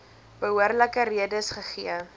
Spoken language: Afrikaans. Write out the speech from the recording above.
behoorlike redes gegee